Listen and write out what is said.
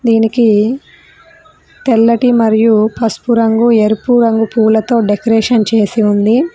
దీనికి తెల్లటి మరియు పసుపు రంగు ఎరుపు రంగు పూలతో డెకరేషన్ చేసి ఉంది.